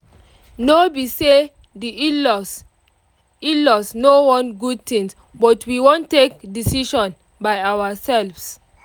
no be say di in-laws in-laws no want good thing but we wan take decision by ourselve